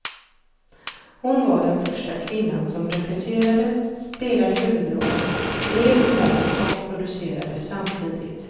Hon var den första kvinnan som regisserade, spelade huvudrollen, skrev manus och producerade samtidigt.